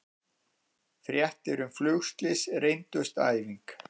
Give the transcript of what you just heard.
Fréttir um flugslys reyndust æfing